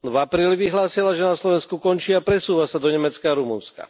V apríli vyhlásila, že na Slovensku končí a presúva sa do Nemecka a Rumunska.